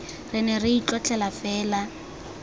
re ne re itlotlela fela